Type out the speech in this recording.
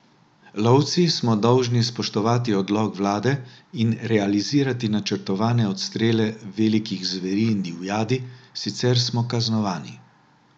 Lovci smo dolžni spoštovati odlok vlade in realizirati načrtovane odstrele velikih zveri in divjadi, sicer smo kaznovani.